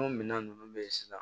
O minɛn nunnu bɛ ye sisan